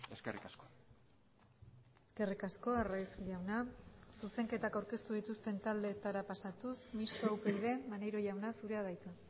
eskerrik asko eskerrik asko arraiz jauna zuzenketak aurkeztu dituzten taldeetara pasatuz mistoa upyd maneiro jauna zurea da hitza